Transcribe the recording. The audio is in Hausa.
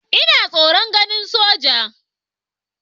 Ina tsoron ganin sojoji.